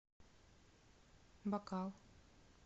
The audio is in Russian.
бакал